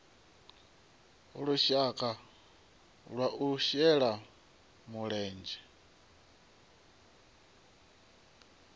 lushaka lwa u shela mulenzhe